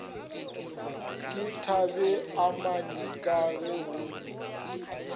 ke thabeamanyi ka ge go